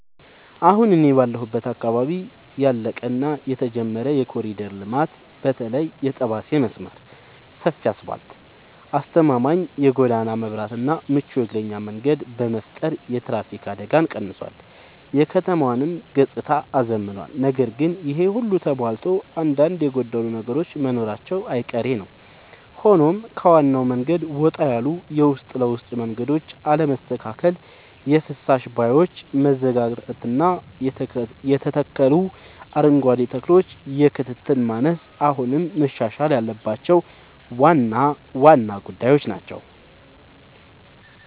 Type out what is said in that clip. አሁን እኔ ባለሁበት አካባቢ ያለቀ እና የተጀመረ የኮሪደር ልማት (በተለይ የጠባሴ መስመር) ሰፊ አስፋልት: አስተማማኝ የጎዳና መብራትና ምቹ የእግረኛ መንገድ በመፍጠር የትራፊክ አደጋን ቀንሷል: የከተማዋንም ገጽታ አዝምኗል። ነገር ግን ይሄ ሁሉ ተሟልቶ አንዳንድ የጎደሉ ነገሮች መኖራቸው አይቀሬ ነዉ ሆኖም ከዋናው መንገድ ወጣ ያሉ የውስጥ ለውስጥ መንገዶች አለመስተካከል: የፍሳሽ ቦዮች መዘጋጋትና የተተከሉ አረንጓዴ ተክሎች የክትትል ማነስ አሁንም መሻሻል ያለባቸው ዋና ዋና ጉዳዮች ናቸው።